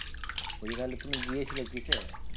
বলছি তাহলে তুমি গিয়েছিলে কিসে?